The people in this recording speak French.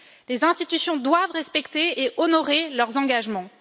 Les institutions doivent respecter et honorer leurs engagements.